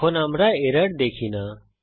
এখন আমরা এরর দেখি না